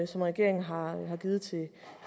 som regeringen har givet